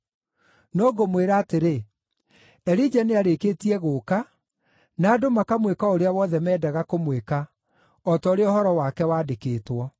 No ngũmwĩra atĩrĩ, Elija nĩarĩkĩtie gũũka na andũ makamwĩka o ũrĩa wothe meendaga kũmwĩka, o ta ũrĩa ũhoro wake wandĩkĩtwo.”